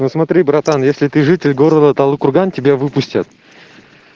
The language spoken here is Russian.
вот смотри братан если ты житель города талды-курган тебя выпустят